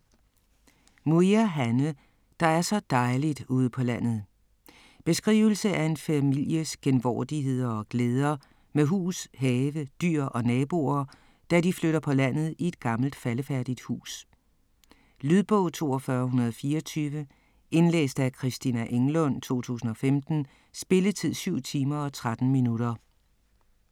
Muir, Hanne: - der er så dejligt ude på landet ... Beskrivelse af en families genvordigheder og glæder med hus, have, dyr og naboer, da de flytter på landet i et gammelt faldefærdigt hus. Lydbog 42124 Indlæst af Christina Englund, 2015. Spilletid: 7 timer, 13 minutter.